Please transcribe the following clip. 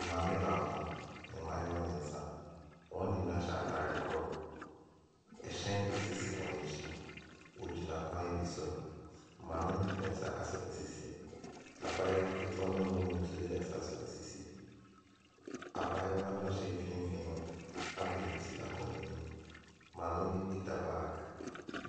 Maame baako, mmaayewa mmiɛnsa, wɔn nyinaa hy ataare korɔ, hyɛn si wɔn akyi, wɔgyina kwan bi so, maame no de ne nsa asɔ ne sisi, abaayewa ketewa no a ɔwɔ mu no nso de ne nsa asɔ ne sisi. Abaayewa no a ɔhyɛ mfimf in no abɔ ni ti akɔ n’anim. Maame no kita baage.